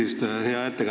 Hea ettekandja!